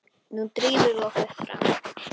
Nú drífum við okkur fram!